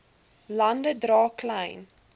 lande dra klein